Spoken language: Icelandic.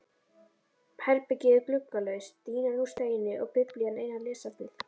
Herbergið er gluggalaust, dýnan úr steini og Biblían eina lesefnið.